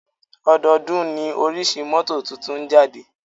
Ọdọọ́dún ní oríṣi mọ́tò tuntun ń jáde.